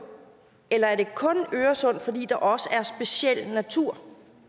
eller er det kun øresund fordi der også er en speciel natur